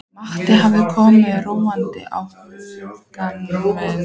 Matti hafði komið róti á huga minn.